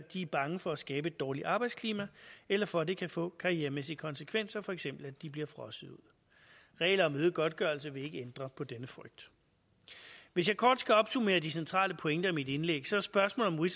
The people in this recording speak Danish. de er bange for at skabe et dårligt arbejdsklima eller for at det kan få karrieremæssige konsekvenser for eksempel at de bliver frosset ud regler om øget godtgørelse vil ikke ændre på denne frygt hvis jeg kort skal opsummere de centrale pointer i mit indlæg er spørgsmålet